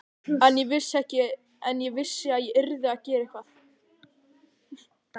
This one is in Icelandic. En ég vissi að ég yrði að gera eitthvað.